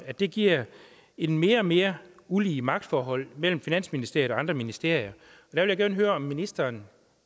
at det giver et mere og mere ulige magtforhold mellem finansministeriet og andre ministerier jeg vil gerne høre om ministeren